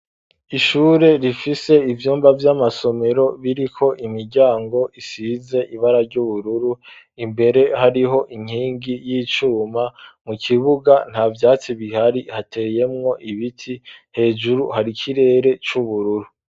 Ishure rifise ivyumba vy'amasomero biriko imiryango isize ibara ry'ubururu, imbere hariho inkingi y'icuma, mu kibuga nta vyatsi bihari, hateyemwo ibiti, hejuru hari ikirere c'ubururu.